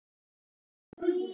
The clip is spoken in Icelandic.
Settur réttur, það er lög.